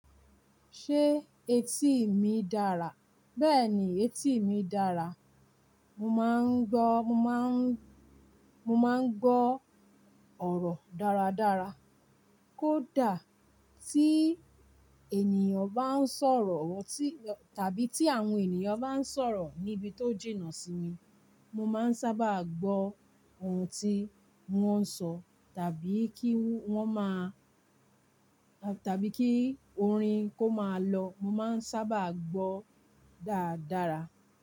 Ṣé etí mi dára? Bẹ́ẹ̀ni etí mi dára. Mo máa ń gbọ́, mo máa ń, mo máa ń gbọ́ ọ̀rọ̀ dáradára. Kódà tí ènìyàn bá ń sọ̀rọ̀ tàbí tí àwọn ènìyàn bá ń sọ̀rọ̀ níbi tó jìnà sí mi, mo máa ń sábà gbọ́ ohun tí wọ́n ń sọ tàbí kí wọ́n má a tàbí kí orin kó máa lọ, mo máa ń sábà gbọ́ dáradára.